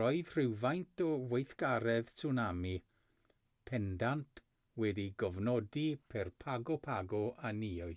roedd rhywfaint o weithgaredd tswnami pendant wedi'i gofnodi ger pago pago a niue